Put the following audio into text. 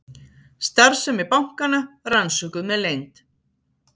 Starfsemi bankanna rannsökuð með leynd